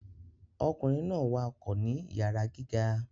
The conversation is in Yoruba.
Ọkunrin náà wakọ ni iyara gíga